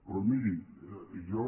però miri jo